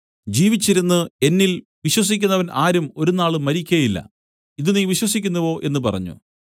ജീവിച്ചിരുന്നു എന്നിൽ വിശ്വസിക്കുന്നവൻ ആരും ഒരുനാളും മരിക്കയില്ല ഇതു നീ വിശ്വസിക്കുന്നുവോ എന്നു പറഞ്ഞു